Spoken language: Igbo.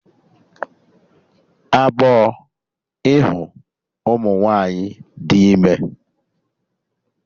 Agbọọ ịhụ ụmụ nwaanyị dị ime